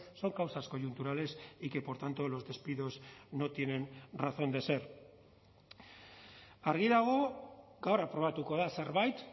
son causas coyunturales y que por tanto los despidos no tienen razón de ser argi dago gaur aprobatuko da zerbait